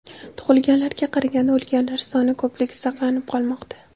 Tug‘ilganlarga qaraganda o‘lganlar soni ko‘pligi saqlanib qolmoqda.